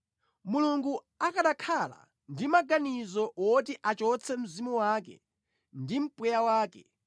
Mulungu akanakhala ndi maganizo oti achotse mzimu wake ndi mpweya wake,